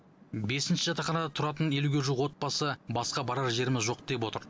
бесінші жатақханада тұратын елуге жуық отбасы басқа барар жеріміз жоқ деп отыр